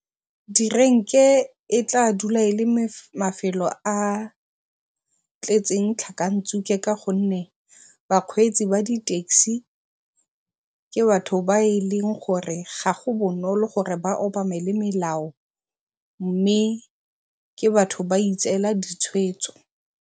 Direnke e tla dula e le mafelo a tletseng tlhakantshuke ka gonne bakgweetsi ba di-taxi ke batho ba e leng gore ga go bonolo gore ba obamele melao mme ke batho ba itseela ditshwetso.